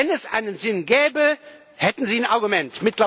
Wenn es einen Sinn gäbe, hätten sie ein Argument.